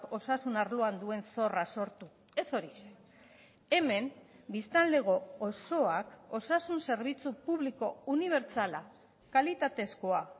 osasun arloan duen zorra sortu ez horixe hemen biztanlego osoak osasun zerbitzu publiko unibertsala kalitatezkoa